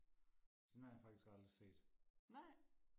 den har jeg faktisk aldrig set